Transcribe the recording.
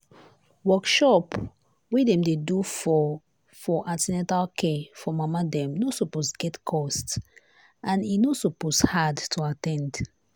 workshop wey dem dey do for for an ten atal care for mama dem no suppose get cost and e no suppose hard to at ten d.